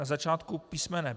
Na začátku písm.